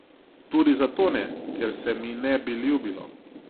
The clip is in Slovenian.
Tudi zato ne, ker se mi ne bi ljubilo.